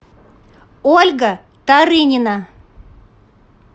ольга тарынина